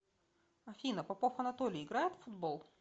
афина попов анатолий играет в футбол